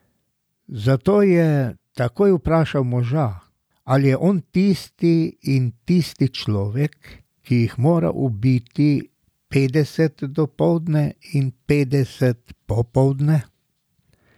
Zato je takoj vprašal moža, ali je on tisti in tisti človek, ki jih more ubiti petdeset dopoldne in petdeset popoldne.